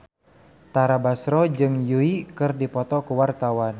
Tara Basro jeung Yui keur dipoto ku wartawan